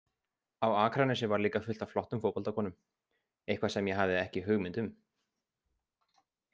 Á Akranesi var líka fullt af flottum fótboltakonum, eitthvað sem ég hafði ekki hugmynd um.